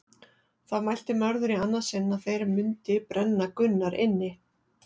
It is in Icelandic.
Þá mælti Mörður í annað sinn að þeir mundi brenna Gunnar inni.